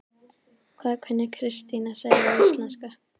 Hvað kunni Kristín að segja á íslensku?